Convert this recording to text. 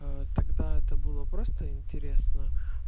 тогда это было просто интересно